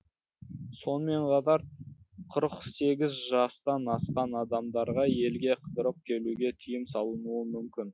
сонымен қатар қырық сегіз жастан асқан адамдарға елге қыдырып келуге тыйым салынуы мүмкін